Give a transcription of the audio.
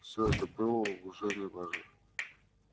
все это было уже не важно